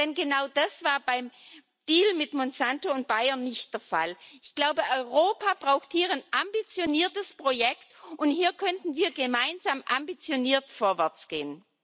Denn genau das war beim Deal mit Monsanto und Bayer nicht der Fall. Ich glaube, Europa braucht hier ein ambitioniertes Projekt, und hier könnten wir gemeinsam ambitioniert vorwärtsgehen.